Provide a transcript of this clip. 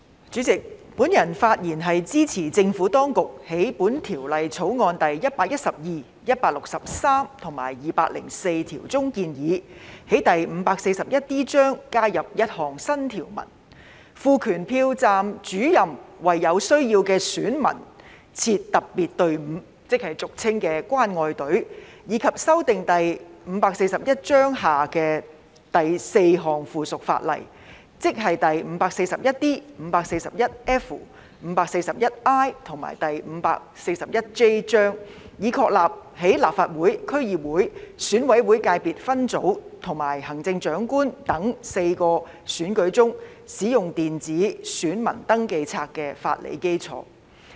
主席，我發言支持政府當局在本條例草案第112、163及204條中建議，在第 541D 章加入一項新條文，賦權投票站主任為有需要的選民設特別隊伍，即俗稱的"關愛隊"，以及修訂第541章下的4項附屬法例，即第 541D、541F、541I 及 541J 章，以確立在立法會、區議會、選舉委員會界別分組及行政長官4項選舉中，使用電子選民登記冊的法理基礎。